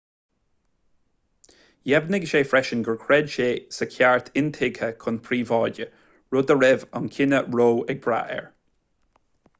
dheimhnigh sé freisin gur chreid sé sa cheart intuigthe chun príobháide rud a raibh an cinneadh roe ag brath air